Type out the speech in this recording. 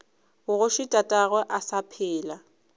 bogoši tatagwe a sa phela